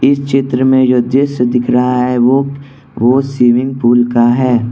इस चित्र में जो दृश्य दिख रहा है वो वो स्विमिंग पूल का है।